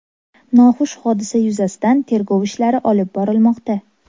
Noxush hodisa yuzasidan tergov ishlari olib borilmoqda.